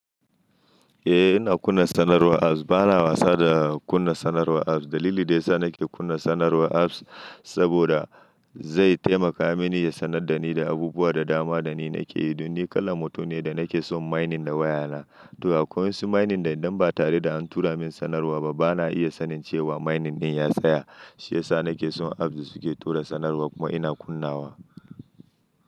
Eh ina kunna sanarwar apps. Bana wasa da kunna sanarwar apps. Dalili da ya sa nake kunna sanarwar apps saboda zai taimaka mini ya sanar da ni da abubuwan da dama da ni nake yi. Don ni kalan mutum ne da nake son mining da wayana. To akwai wasu mining da idan ba tare da an tura min sanarwa ba bana iya sanin cewa mining ɗin ya tsaya. Shi yasa nake son apps da suke tura sanarwa kuma ina kunnawa.